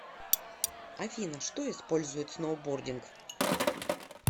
афина что использует сноубординг